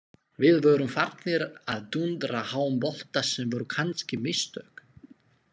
Við vorum farnir að dúndra háum bolta sem voru kannski mistök.